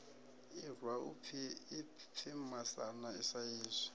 irwa u pfi masana saizwi